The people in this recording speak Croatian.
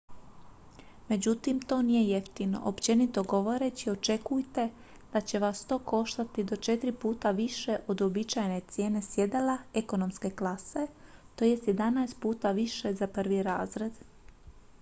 međutim to nije jeftino: općenito govoreći očekujte ​​da će vas to koštati i do četiri puta više od uobičajene cijene sjedala ekonomske klase to jest jedanaest puta više za prvi razred!